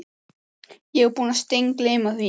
Ég var búinn að steingleyma því.